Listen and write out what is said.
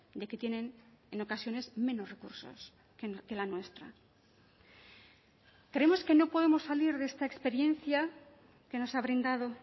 de que tienen en ocasiones menos recursos que la nuestra creemos que no podemos salir de esta experiencia que nos ha brindado